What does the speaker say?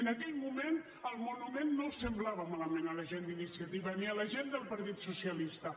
en aquell moment el monument no els semblava malament a la gent d’iniciativa ni a la gent del partit socialista